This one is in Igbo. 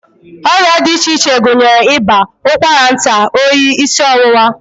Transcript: Ọrịa dị iche iche gụnyere ịba, ụkwara nta, oyi, isi ọwụwa